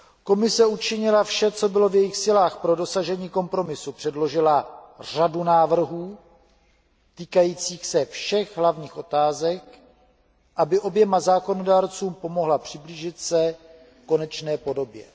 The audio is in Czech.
Komise učinila vše, co bylo v jejích silách pro dosažení kompromisu, předložila řadu návrhů týkajících se všech hlavních otázek, aby oběma zákonodárcům pomohla přiblížit se konečné podobě.